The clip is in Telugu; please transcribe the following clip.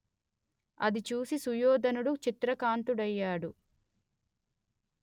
అది చూసి సుయోధనుడు చింతాక్రాంతుడైయ్యాడు